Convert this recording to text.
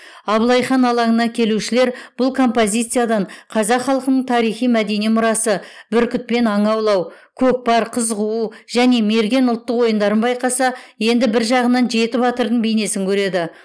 абылай хан алаңына келушілер бұл композициядан қазақ халқының тарихи мәдени мұрасы біркітпен аң аулау көкпар қыз қуу және мерген ұлттық ойындарын байқаса енді біржағынан жеті батырдың бейнесін көреді